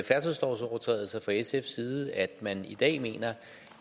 færdselslovovertrædelser fra sfs side at man i dag mener